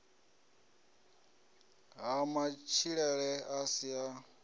ha matshilele a si a